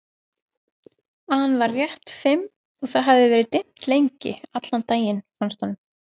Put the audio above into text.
an var rétt fimm og það hafði verið dimmt lengi, allan daginn, fannst honum.